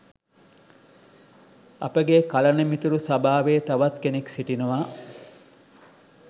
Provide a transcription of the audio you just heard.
අපගේ කළණමිතුරු සභාවේ තවත් කෙනෙක් සිටිනවා.